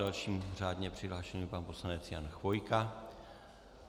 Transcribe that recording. Dalším řádně přihlášeným je pan poslanec Jan Chvojka.